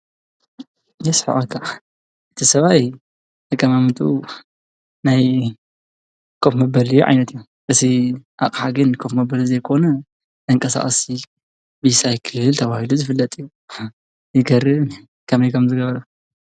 የስሕቐካ እቲ ሰብኣይ አቀማምጥኡ ናይ ኮፍ መበሊ ዓይነት እዩ እዚ አቕሓ ግን ኮፍ መበሊ ዘይኮነ ተንቀሳቀስቲ ቢሳይክል ተባሂሉ ዝፍለጥ እዩ። ይገርም እዩ ከመይ ከም ዝገበሮ ?